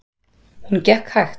Hún gekk hægt.